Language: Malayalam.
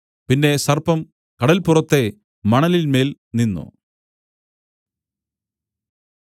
പിന്നെ സർപ്പം കടൽപ്പുറത്തെ മണലിന്മേൽ നിന്നു